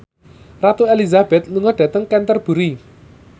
Ratu Elizabeth lunga dhateng Canterbury